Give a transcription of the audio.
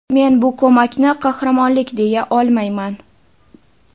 Men bu ko‘makni qahramonlik deya olmayman.